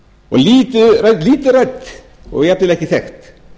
og lítið rætt og jafnvel ekki þekkt